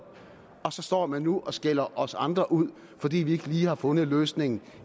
og så står man nu og skælder os andre ud fordi vi ikke lige har fundet løsningen